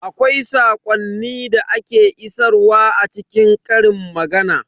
Akwai saƙonni da ake isarwa a cikin ƙarin magana.